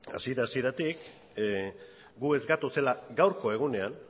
hasiera hasieratik gu ez gatozela gaurko egunean